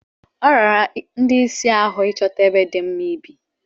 Ọ rara ndị isi ahụ ịchọta ebe dị mma ibi.